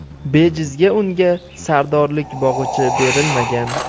Bejizga unga sardorlik bog‘ichi berilmagan.